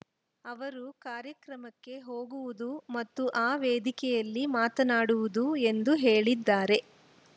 ಅವರು ಕಾರ್ಯಕ್ರಮಕ್ಕೆ ಹೋಗುವುದು ಮತ್ತು ಆ ವೇದಿಕೆಯಲ್ಲಿ ಮಾತನಾಡುವುದು ಎಂದು ಹೇಳಿದ್ದಾರೆ